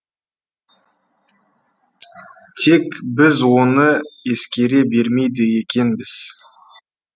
тек біз оны ескере бермейді екенбіз